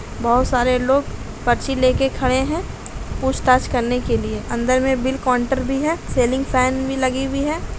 बहुत सारे लोग पर्ची लेके खड़े हैं पूछ-ताछ करने के लिए अंदर में बिल काउंटर भी है सीलिंग फैन भी लगी हुई है।